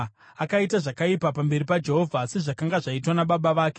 Akaita zvakaipa pamberi paJehovha, sezvakanga zvaitwa nababa vake.